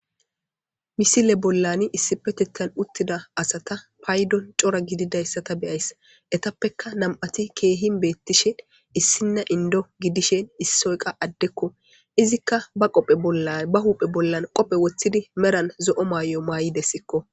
Misile bollani issi petettan uttida asata paydon cora gididayssata beyays etappekka nam'ati keehin beettishe issinna indo gidishen issi oyqa addekko izikka ba huuphe bollan qophe woththidi meran zo'o maay'o maay'idessikko.